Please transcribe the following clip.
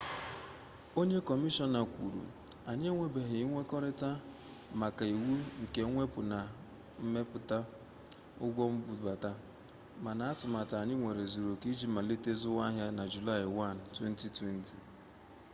onye kọmishọna kwuru anyị enwebeghị nkwekọrịta maka iwu nke ebe mmepụta na mwepụ ụgwọ mbubata mana atụmatụ anyị nwere zuru oke iji malite zụwa ahịa na julaị 1 2020